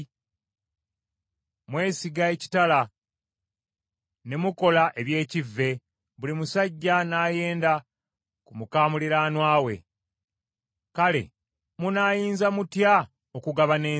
Mwesiga ekitala, ne mukola eby’ekivve, buli musajja n’ayenda ku muka muliraanwa we. Kale munaayinza mutya okugabana ensi?’